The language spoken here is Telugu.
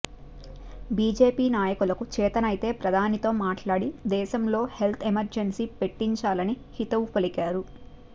బీజేపీ నాయకులకు చేతనైతే ప్రధానితో మాట్లాడి దేశంలో హెల్త్ ఎమర్జెన్సీ పెట్టించాలని హితవు పలికారు